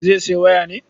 Zai sayo waya ne?